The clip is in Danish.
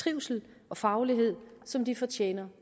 trivsel og faglighed som de fortjener